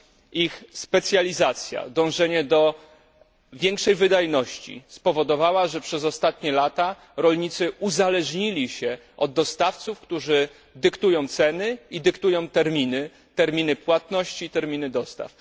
Ich specjalizacja, dążenie do większej wydajności spowodowało, że przez ostatnie lata rolnicy uzależnili się od dostawców, którzy dyktują ceny oraz terminy płatności i dostaw.